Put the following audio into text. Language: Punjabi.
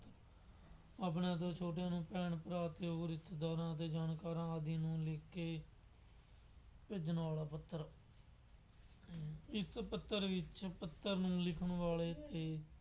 ਆਪਣੇ ਤੋਂ ਛੋਟਿਆਂ ਨੂੰ ਭੈਣ, ਭਰਾ ਅਤੇ ਹੋਰ ਰਿਸ਼ਤੇਦਾਰਾਂ ਅਤੇ ਜਾਣਕਾਰਾਂ ਆਦਿ ਨੂੰ ਲਿਖਕੇ ਭੇਜਣ ਵਾਲਾ ਪੱਤਰ, ਇਸ ਪੱਤਰ ਵਿੱਚ ਪੱਤਰ ਨੂੰ ਲਿਖਣ ਵਾਲੇ ਇਹ